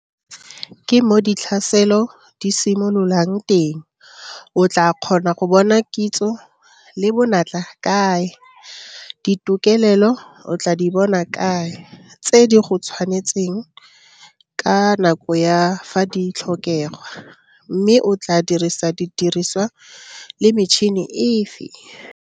Ke mo ditlhaselo di simololang teng o tlaa kgona go bona kitso le bonatla kae, ditokelelo o tlaa di bona kae tse di go tshwanetseng ka nako ya fa di tlhokegwa, mme o tlaa dirisa didiriswa le metšhene efe?